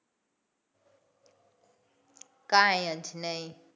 કઈ જ નહીં.